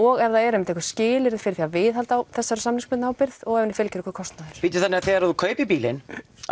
og ef það eru einmitt einhver skilyrði fyrir því að viðhalda þessari samningsbundnu ábyrgð og ef henni fylgir einhver kostnaður bíddu þannig þegar þú kaupir bílinn